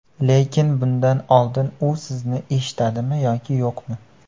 Lekin bundan oldin u sizni eshitadimi yoki yo‘qmi?